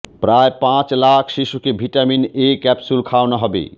প্রায় পাঁচ লাখ শিশুকে ভিটামিন এ ক্যাপসুল খাওয়ানো হবে